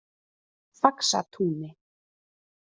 Faxatúni